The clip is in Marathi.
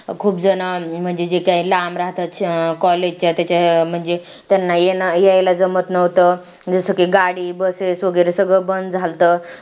खूप जण म्हणजे जे काही लांब राहतात college च्या त्याच्या म्हणजे त्यांना यायला जमत नव्हतं जसं की गाडी bus वगैरे सगळं बंद झालतं